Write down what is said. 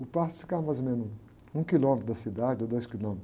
O pasto ficava mais ou menos um quilômetro da cidade, ou dois quilômetros.